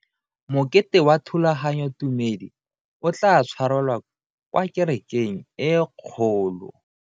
Mokete wa thulaganyotumedi o tla tshwarelwa kwa kerekeng e kgolo.